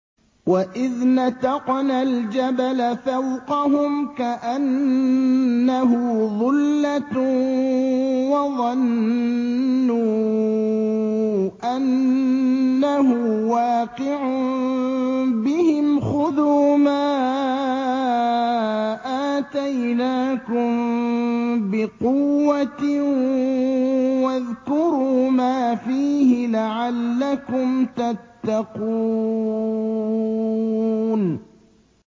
۞ وَإِذْ نَتَقْنَا الْجَبَلَ فَوْقَهُمْ كَأَنَّهُ ظُلَّةٌ وَظَنُّوا أَنَّهُ وَاقِعٌ بِهِمْ خُذُوا مَا آتَيْنَاكُم بِقُوَّةٍ وَاذْكُرُوا مَا فِيهِ لَعَلَّكُمْ تَتَّقُونَ